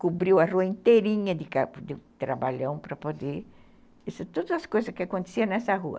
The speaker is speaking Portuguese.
Cobriu a rua inteirinha de trabalhão para poder... Todas as coisas que aconteciam nessa rua.